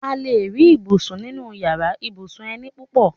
A lè rí ibùsùn nínu yàrá ibùsùn eni púpọ̀